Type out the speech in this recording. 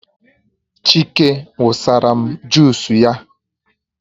Chike wụsara m jusu ya